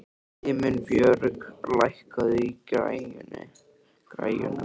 Himinbjörg, lækkaðu í græjunum.